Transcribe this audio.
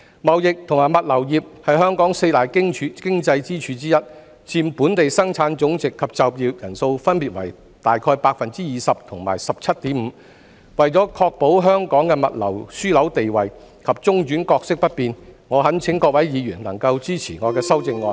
貿易及物流業是本港四大經濟支柱之一，佔本地生產總值及就業人數分別為大約 20% 及 17.5%， 為確保香港的物流樞紐地位及中轉角色不變，我懇請各位議員能夠支持我的修正案。